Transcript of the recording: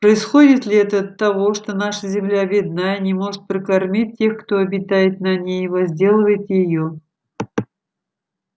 происходит ли это от того что наша земля бедна и не может прокормить тех кто обитает на ней и возделывает её